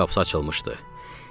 Karetin qapısı açılmışdı.